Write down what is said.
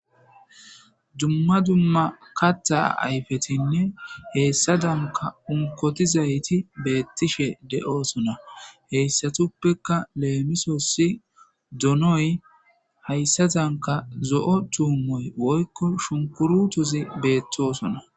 Dumma dumma katha ayfetinne hesadanka unkotizayti beetishe de'osona. Heysatupeka lemisosi donoy haysadanka zo'o tuumoy woykko shunkurutizi betosona.